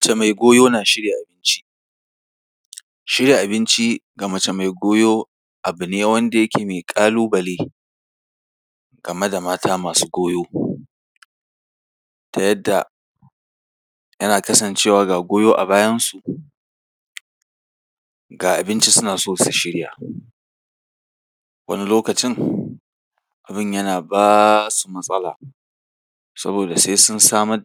Mace mai goyo na shirya abinci. Shirya abinci ga mace mai goyo abu ne wanda yake mai ƙalu-bale game da mata masu goyo ta yadda yana kasancewa ga goyo a bayansu, ga abinci suna so su shirya. Wani lokacin, abin yana ba su matsala, saboda sai sun samar da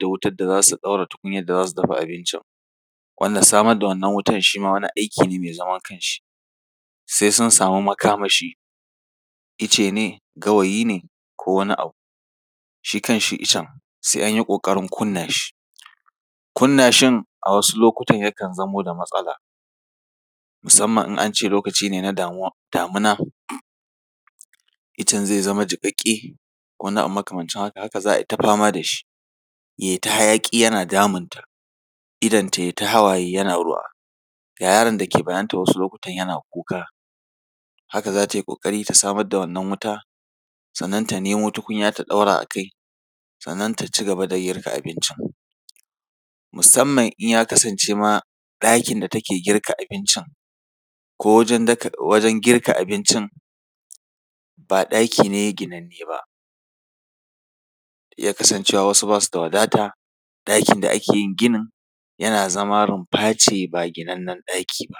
tukunyar da za su dafa abincin, wanda samar da wannan wutan shi ma wani aiki ne mai zaman kanshi. Sai sun samu makamashi. Ice ne, gawayi ne ko wani abu. Shi kanshi icen sai an yi ƙoƙarin kunna shi. Kunna shin a wasu lokutan yakan zamo da matsala, musamman in an ce lokaci ne na damuwa, damuna. Icen zai zama jiƙaƙƙe ko wani abu makamancin haka, haka za a yi ta fama da shi, ya yi ta hayaƙi yana damunta, idonta ya yi ta hawaye yana damunta yana ruwa. Ga yaron da yake bayanta wasu lokutan yana kuka. Haka za ta yi ƙoƙari ta samar da wannan wuta, sannan ta nemo tukunya ta ɗaura a kai, sannan ta ci gaba da girka abincin. Musamman idan ya kasance ma, ɗakin da take girka abincin, ko wajen daka, girka abincin, ba ɗaki ne ginanne ba, ya iya kasancewa wasu ba su da wadata, ɗakin da ake yin ginin, yana zama rumfa ce, ba ginannen ɗaki ba.